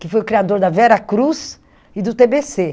que foi o criador da Vera Cruz e do tê bê cê.